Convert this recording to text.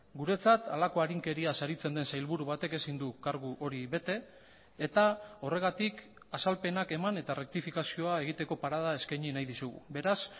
guretzat halako arinkeriaz aritzen den sailburu batek ezin du kargu hori bete eta horregatik azalpenak eman eta errektifikazioa egiteko parada eskaini nahi dizugu beraz